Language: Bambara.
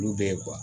Olu bɛ ye